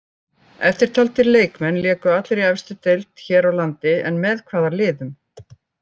Eftirtaldir leikmenn léku allir í efstu deild hér á landi en með hvaða liðum?